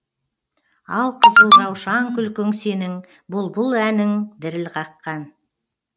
ал қызыл раушан күлкің сенің бұлбұл әнің діріл қаққан